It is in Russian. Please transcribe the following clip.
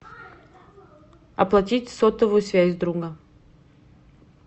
оплатить сотовую связь друга